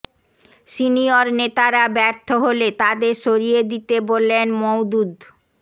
senior নেতারা ব্যর্থ হলে তাদের সরিয়ে দিতে বললেন মওদুদ